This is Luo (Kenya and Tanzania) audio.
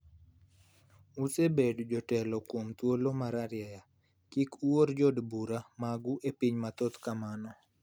osebedo jatelo kuom thuolo mararieya, kik uor jo od bura mag pinyu mathoth kamano.